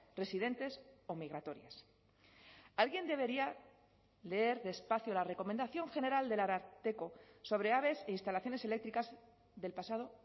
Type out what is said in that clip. residentes o migratorias alguien debería leer despacio la recomendación general del ararteko sobre aves e instalaciones eléctricas del pasado